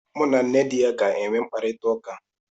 M na nne di ya ga enwe mkparịta ụka